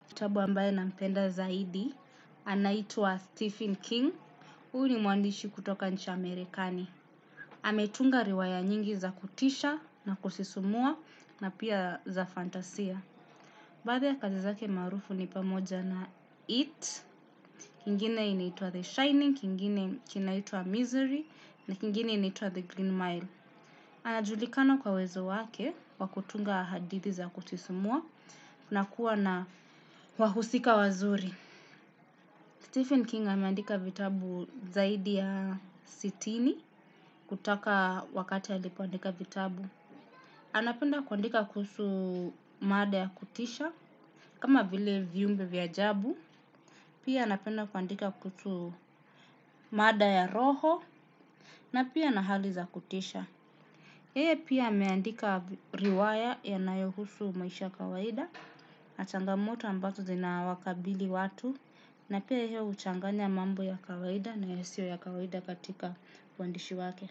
Kitabu ambaye nampenda zaidi, anaitwa Stephen King, huu ni meandishi kutoka nchi Amerikani. Ametunga riwaya nyingi za kutisha na kusisumua na pia za fantasia. Baadhi ya kazi zake marufu ni pamoja na it. Kingine inaituwa The Shining, kingine kinaitwa Misery, na kingine inaitwa The Green Mile. Anajulikana kwa uwezo wake wa kutunga hadithi za kusisimua, na kuwa na wahusika wazuri. Stephen King ameandika vitabu zaidi ya sitini kutaka wakati alipoandika vitabu. Anapenda kuandika kuhusu mada ya kutisha. Kama bile viumbe vya ajabu. Pia anapenda kuandika kuhusu mada ya roho. Na pia na hali za kutisha. Yeye pia ameandika riwaya yanayohusu maisha kawaida. Na changamoto ambazo zinawakabili watu. Na pia yehe huchanganya mambo ya kawaida na yasio ya kawaida katika uandishi wake.